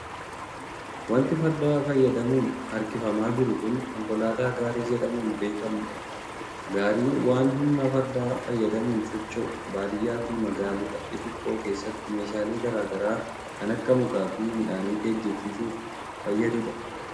Wanti farda fayyadamuun harkifamaa jiru kun, konkolaataa gaarii jedhamuun beekamuu dha. Gaariin waan humna fardaa fayyadamuun socho'u baadiyaa fi magaalota xixiqqoo keessatti meeshaalee garaa garaa kan akka mukaa fi midhaanii geejibsiisuuf fayyaduu dha.